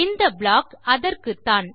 இந்த ப்ளாக் அதற்குத்தான்